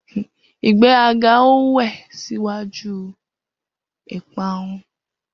Igbe 'a ga o we s'ugwaju i pa'uun.